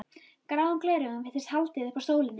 Gráum gleraugum virtist haldið upp að sólinni.